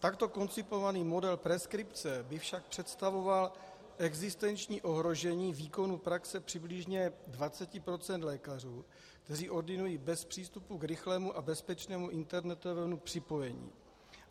Takto koncipovaný model preskripce by však představoval existenční ohrožení výkonu praxe přibližně 20 % lékařů, kteří ordinují bez přístupu k rychlému a bezpečnému internetovému připojení.